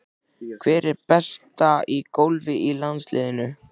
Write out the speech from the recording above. Hver er bestur í golfi í landsliðinu?